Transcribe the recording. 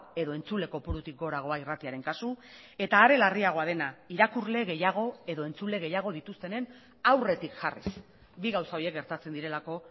edo entzule kopurutik goragoa irratiaren kasu eta are larriagoa dena irakurle gehiago edo entzule gehiago dituztenen aurretik jarriz bi gauza horiek gertatzen direlako